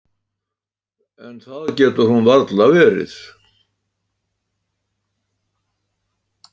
En það getur hún varla verið.